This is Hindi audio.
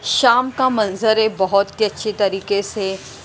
शाम का मंजर है बहुत ही अच्छी तरीके से।